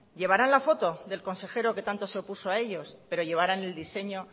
llevarán la foto del consejero que tanto se opuso a ellos pero llevarán el diseño